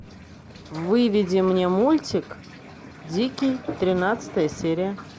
выведи мне мультик дикий тринадцатая серия